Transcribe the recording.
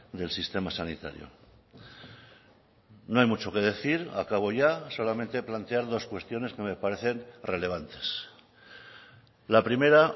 del sistema sanitario no hay mucho que decir acabo ya solamente plantear dos cuestiones que me parecen relevantes la primera